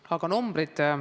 Aga numbrid.